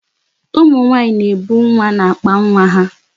Ụmụ nwaanyị na-ebu nwa n'akpa nwa ha.